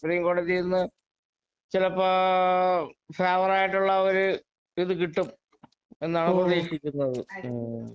supreme കോടതീന്ന് ചിലപ്പോൾ favour ആയിട്ടുള്ള ഒരു ഇത് കിട്ടും എന്നാണ് പ്രതീക്ഷിക്കുന്നത്